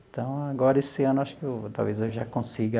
Então, agora esse ano eu acho que talvez eu já consiga